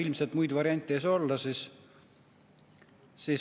No ilmselt muid variante ei saa olla.